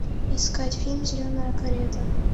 искать фильм зеленая карета